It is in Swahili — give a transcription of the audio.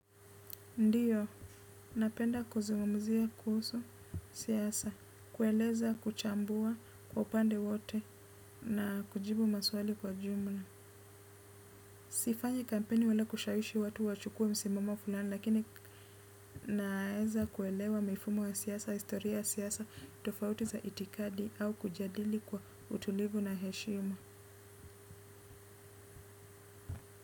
Ndio, napenda kuzungumzia kuhusu siasa, kueleza kuchambua kwa upande wote na kujibu maswali kwa jumla. Sifanyi kampeni wala kushawishi watu wachukue msimamo fulani lakini naeza kuelewa mifumo ya siasa, historia ya siasa, tofauti za itikadi au kujadili kwa utulivu na heshima.